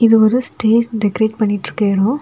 இது ஒரு stage decorate பண்ணிட்டு இருக்க எடோ.